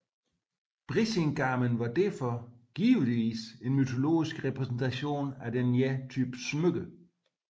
Brísingamen var derfor givetvis en mytologisk repræsentation af denne type smykker